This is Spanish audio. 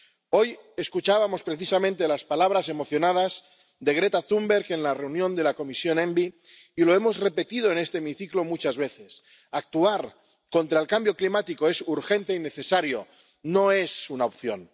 Hoy escuchábamos precisamente las palabras emocionadas de Greta Thunberg en la reunión de la Comisión ENVI, y lo hemos repetido en este hemiciclo muchas veces actuar contra el cambio climático es urgente y necesario, no es una opción.